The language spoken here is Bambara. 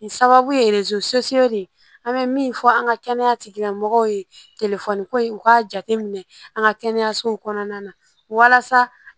Nin sababu ye an bɛ min fɔ an ka kɛnɛya tigilamɔgɔw ye telefɔni ko in u k'a jate minɛ an ka kɛnɛyasow kɔnɔna na walasa